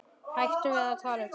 Hættum að tala um þetta.